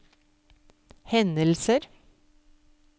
hendelser